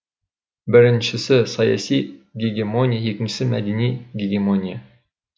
біріншісі саяси гегемония екіншісі мәдени гегемония